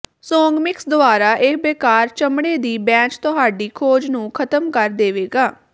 Songmics ਦੁਆਰਾ ਇਹ ਬੇਕਾਰ ਚਮੜੇ ਦੀ ਬੈਂਚ ਤੁਹਾਡੀ ਖੋਜ ਨੂੰ ਖ਼ਤਮ ਕਰ ਦੇਵੇਗਾ